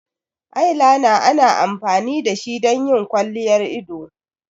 Eyeliner ana amfani da shi don yin kwalliyar ido.